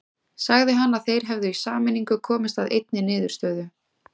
Sagði hann að þeir hefðu í sameiningu komist að einni niðurstöðu.